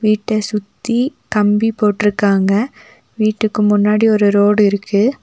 வீட்ட சுத்தி கம்பி போட்ருக்காங்க வீட்டுக்கு முன்னாடி ஒரு ரோடு இருக்கு.